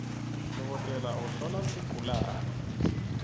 dokotela uhlola sigulawe